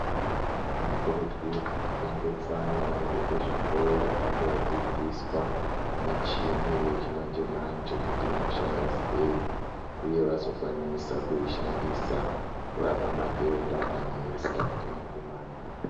Tinokurudzirwa kuendesa ana edu kuzvikora, vandodzidziswa michini yechimanje-manje kuti inoshanda sei, uye vazokwanisa kuishandisa, kurapa matenda anesa echimanje-manje.